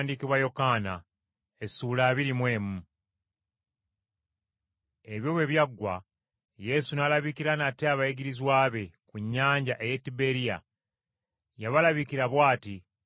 Ebyo bwe byaggwa, Yesu n’alabikira nate abayigirizwa be, ku nnyanja ey’e Tiberiya. Yabalabikira bw’ati: